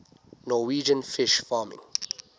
norwegian fish farming